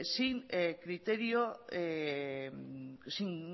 sin